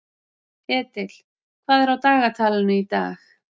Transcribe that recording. Edil, hvað er á dagatalinu í dag?